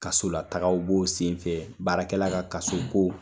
Kaso la tagaw b'o sen fɛ baarakɛla ka kaso ko!